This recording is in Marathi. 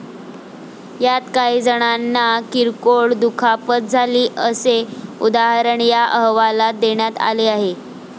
यात काहीजणांना किरकोळ दुखापत झाली, असे उदाहरण या अहवालात देण्यात आले आहे.